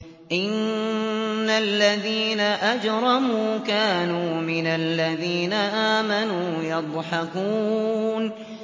إِنَّ الَّذِينَ أَجْرَمُوا كَانُوا مِنَ الَّذِينَ آمَنُوا يَضْحَكُونَ